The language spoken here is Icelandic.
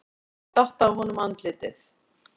Það datt af honum andlitið.